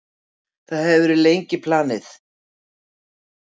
Það hefur verið lengi planið.